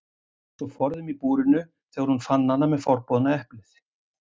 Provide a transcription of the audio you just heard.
Eins og forðum í búrinu þegar hún fann hana með forboðna eplið.